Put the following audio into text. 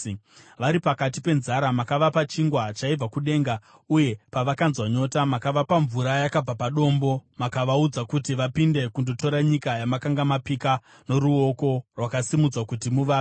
Vari pakati penzara makavapa chingwa chaibva kudenga, uye pavakanzwa nyota makavapa mvura yakabva padombo; makavaudza kuti vapinde kundotora nyika yamakanga mapika noruoko rwakasimudzwa kuti muvape.